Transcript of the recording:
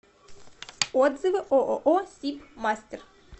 отзывы ооо сиб мастер